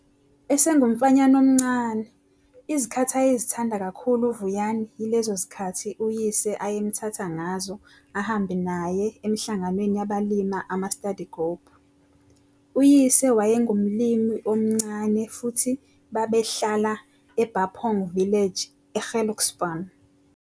Esengumfanyana omncane, izikhathi ayezithanda kakhulu uVuyani yilezo zikhathi uyise ayemthatha ngazo ehambe naye emihlanganweni yabalima ama-study group. Uyise wayengumlimi omncane futhi babehlala eBapong Village eGelukspan.